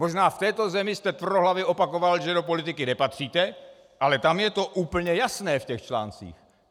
Možná v této zemi jste tvrdohlavě opakoval, že do politiky nepatříte, ale tam je to úplně jasné v těch článcích.